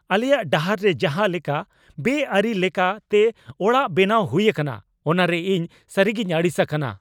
ᱟᱞᱮᱭᱟᱜ ᱰᱟᱦᱟᱨ ᱨᱮ ᱡᱟᱦᱟᱸ ᱞᱮᱠᱟ ᱵᱮᱼᱟᱹᱨᱤ ᱞᱮᱠᱟ ᱛᱮ ᱚᱲᱟᱜ ᱵᱮᱱᱟᱣ ᱦᱩᱭ ᱟᱠᱟᱱᱟ ᱚᱱᱟᱨᱮ ᱤᱧ ᱥᱟᱹᱨᱤᱜᱤᱧ ᱟᱹᱲᱤᱥ ᱟᱠᱟᱱᱟ ᱾